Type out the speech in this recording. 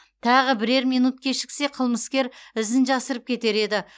тағы бірер минут кешіксе қылмыскер ізін жасырып кетер еді